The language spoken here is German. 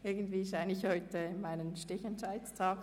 Irgendwie ist heute mein «StichentscheidTag».